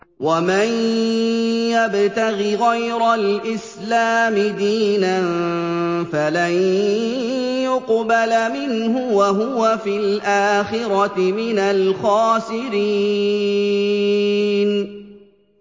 وَمَن يَبْتَغِ غَيْرَ الْإِسْلَامِ دِينًا فَلَن يُقْبَلَ مِنْهُ وَهُوَ فِي الْآخِرَةِ مِنَ الْخَاسِرِينَ